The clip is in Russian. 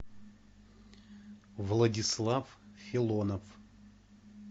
владислав филонов